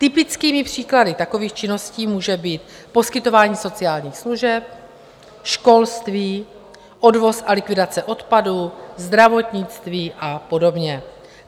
Typickými příklady takových činností může být poskytování sociálních služeb, školství, odvoz a likvidace odpadu, zdravotnictví a podobně.